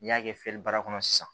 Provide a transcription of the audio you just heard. N'i y'a kɛ fiyɛli baara kɔnɔ sisan